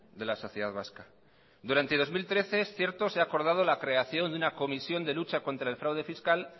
de la sociedad vasca durante dos mil trece es cierto se ha acordado la creación de una comisión de lucha contra el fraude fiscal